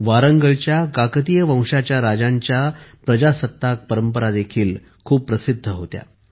वारंगळच्या काकतीय वंशाच्या राजांच्या प्रजासत्ताक परंपराही खूप प्रसिद्ध होत्या